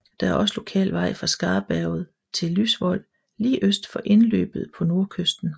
Der er også lokal vej fra Skarberget til Lysvoll lige øst for indløbet på nordkysten